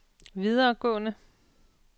videregående